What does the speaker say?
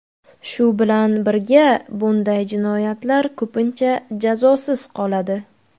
Shu bilan birga bunday jinoyatlar ko‘pincha jazosiz qoladi.